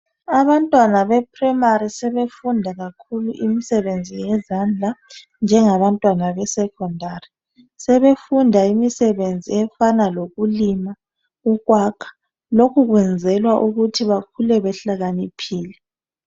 Abantwana be primary sebefunda kakhulu imsebenzi yezandla njengabantwana besecondary. Sebefunda imsebenzi efana lokulima, ukwakha. Lokhu kwenzelwa ukuthi bakhule behlakaniphile.